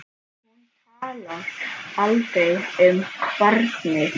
Hún talar aldrei um barnið.